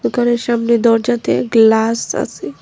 দোকানের সামনে দরজাতে গ্লাস আসে ।